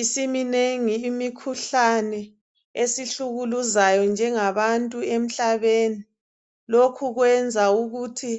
Isiminengi imikhuhlane esihlukuluzayo njengabantu emhlabeni, lokhu kwenza ukuthi